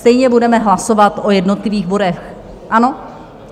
Stejně budeme hlasovat o jednotlivých bodech, ano?